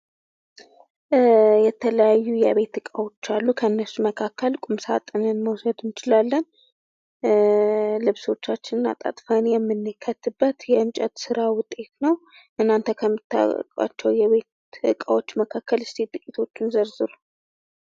የተለያዩ የቤት እቃዎች አሉ ከነሱ መካከል ቁምሳጥንን መውሰድ እንችላለን። ልብሶቻችንን አጣጥፈን የምንከትበት የእንጨት ስራ ዉጤት ነው እና እናንተ ከምታውቋቸው የቤት እቃዎች ዉስጥ እስኪ ጥቂቲቹን ዘርዝሩ።